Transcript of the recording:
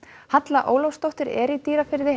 Halla Ólafsdóttir er í Dýrafirði